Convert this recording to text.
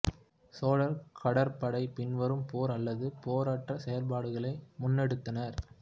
சோழர் கடற்படை பின்வரும் போர் அல்லது போரற்ற செயற்பாடுகளை முன்னெடுத்தனர்